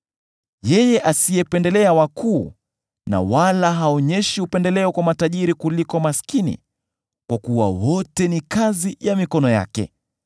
yeye asiyependelea wakuu, wala haonyeshi upendeleo kwa matajiri kuliko maskini, kwa kuwa wote ni kazi ya mikono yake?